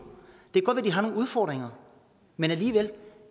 har nogle udfordringer men